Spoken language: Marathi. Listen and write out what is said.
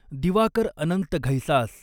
दिवाकर अनंत घैसास